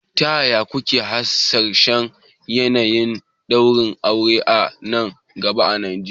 Ta yaya kuke hasashen yanayin ɗaurin aure a nan gaba a Najeriya?